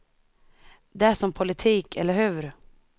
Det är som politik, eller hur.